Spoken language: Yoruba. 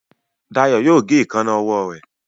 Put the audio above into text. Dayo yóò gé Èékánná ọwọ́ rẹ.